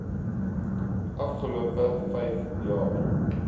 afgelope vyf jaar